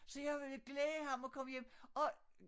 Så jeg ville glæde ham og komme hjem og